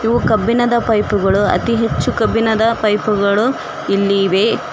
ಇವು ಕಬ್ಬಿಣದ ಪೈಪ್ ಗಳು ಅತೀ ಹೆಚ್ಚು ಕಬ್ಬಿಣದ ಪೈಪ್ ಗಳು ಇಲ್ಲಿ ಇವೆ.